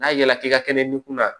N'a ya k'i ka kɛnɛ ni kun na